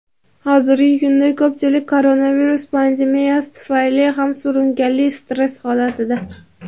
hozirgi kunda ko‘pchilik koronavirus pandemiyasi tufayli ham surunkali stress holatida.